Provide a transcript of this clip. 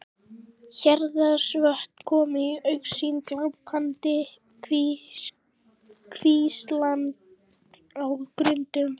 Héraðsvötn komu í augsýn, glampandi kvíslar á grundum.